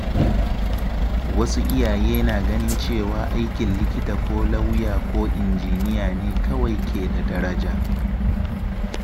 Wasu iyaye na ganin cewa aikin likita ko lauya ko injiniya ne kawai ke da daraja.